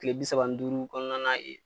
Tile bi saba ni duuru kɔnɔna na yen